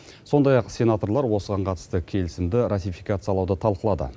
сондай ақ сенаторлар осыған қатысты келісімді ратификациялауды талқылады